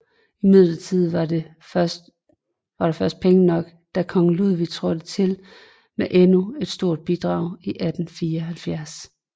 Imidlertid var der først penge nok da kong Ludwig trådte til med endnu et stort bidrag i 1874